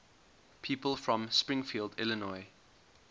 people from springfield illinois